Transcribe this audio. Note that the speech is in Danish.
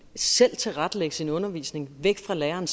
selv at tilrettelægge sin undervisning fra læreren